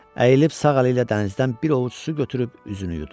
Əyilib sağ əli ilə dənizdən bir ovuc su götürüb üzünü yudu.